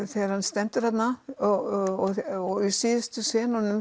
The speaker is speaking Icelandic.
þegar hann stendur þarna og í síðustu